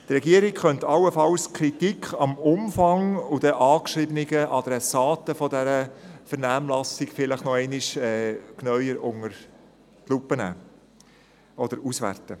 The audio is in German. Allenfalls könnte die Regierung die Kritik am Umfang und hinsichtlich der angeschriebenen Adressaten der Vernehmlassung noch einmal unter die Lupe nehmen.